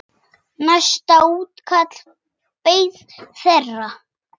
Næsta útkall beið þeirra.